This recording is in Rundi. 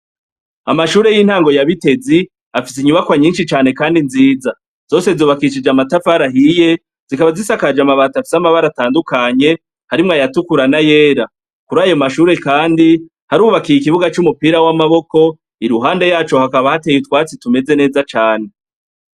Amashure y'intango ya Bitezi, afise inyubakwa nyinshi cane kandi nziza. Zose zubakishije amatafari ahiye, zikaba zisakaje amabati afise amabara atandukanye, harimwo ayatukura n'ayera. Kuri ayo mashuri kandi, harubakiye ikibuga c'umupira w'amaboko, iruhande yaco hakaba hateye utwatsi tumeze neza cane.